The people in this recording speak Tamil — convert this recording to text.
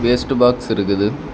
வேஸ்ட் பாக்ஸ் இருக்குது.